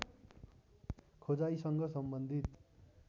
खोजाइसँग सम्बन्धित